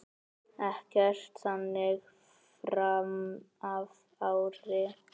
Ekkert þannig framan af ári.